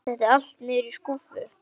Setti allt niður í skúffu.